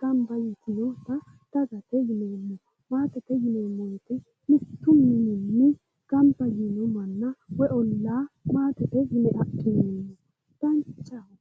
gamba yiino manna dagate yineemmo. maatete yineemmo woyite mittu mininni gamba yiino manna woyi ollaa maatete yine adhineemmo danchaho